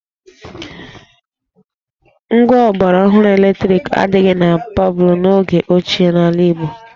Ngwa ọgbaraọhụrụ eletriki adịghị na palọ n'oge ochie n'ala Igbo